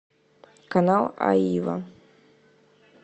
канал аива